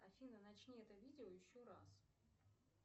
афина начни это видео еще раз